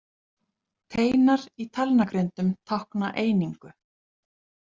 Teinar í talnagrindum tákna einingu.